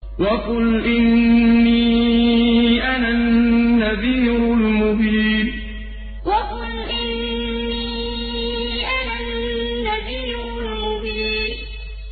وَقُلْ إِنِّي أَنَا النَّذِيرُ الْمُبِينُ وَقُلْ إِنِّي أَنَا النَّذِيرُ الْمُبِينُ